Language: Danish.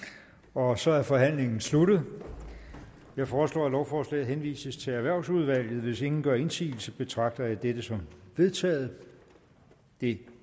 og så er forhandlingen sluttet jeg foreslår at lovforslaget henvises til erhvervsudvalget hvis ingen gør indsigelse betragter jeg dette som vedtaget det